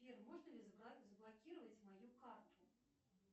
сбер можно ли заблокировать мою карту